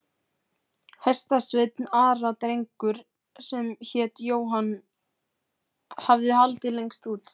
Hestasveinn Ara, drengur sem hét Jóhann, hafði haldið lengst út.